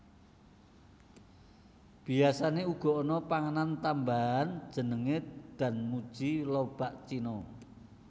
Biasane uga ana panganan tambahan jenenge danmuji lobak cina